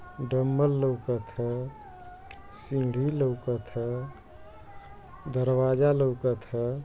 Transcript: Dumbbell लौकत ह सीढ़ी लौकत ह दरवाजा लौकत ह।